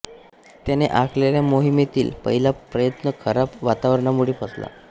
त्याने आखलेल्या मोहिमेतील पहिला प्रयत्न खराब वातावरणामुळे फसला